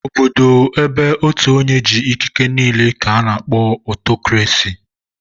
Obodo ébé ótù onye jị̀ ikiké n'ile ka a kpọrọ Ọtọkrasị